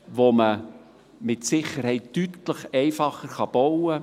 Man kann sie mit Sicherheit deutlich einfacher bauen.